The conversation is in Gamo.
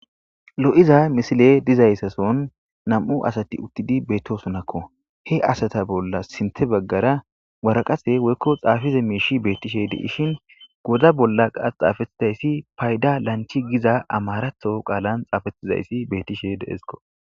Lo'iza misiley dizaysa sohoni nam'u asati utidi betosonako, he asata bolla sinte bagara waraqatey woyko xafiza mishi betishe de'ishn, gooda bolla qasi xafetidaysi fayda lanchi giza amarathon qalani xafetidaysi betishe de'esko.